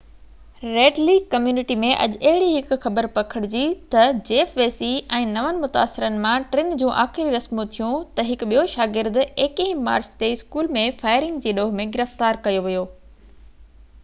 red Lake community ۾ اڄ اهڙي هڪ خبر پکڙجي تہ جيف ويسي ۽ نون متاثرن مان ٽن جون آخري رسمون ٿيون تہ هڪ ٻيو شاگرد 21 مارچ تي اسڪول ۾ فائرنگ جي ڏوه ۾ گرفتار ڪيو ويو هو